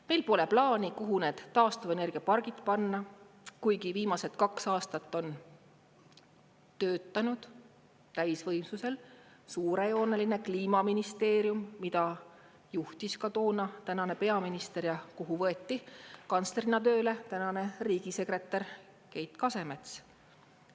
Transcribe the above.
Meil pole plaani, kuhu need taastuvenergiapargid panna, kuigi viimased kaks aastat on töötanud täisvõimsusel suurejooneline Kliimaministeerium, mida juhtis ka toona tänane peaminister ja kuhu võeti kantslerina tööle tänane riigisekretär Keit Kasemets.